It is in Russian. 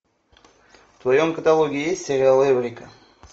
в твоем каталоге есть сериал эврика